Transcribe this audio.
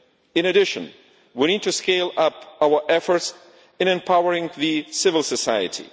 In addition, we need to scale up our efforts in empowering civil society.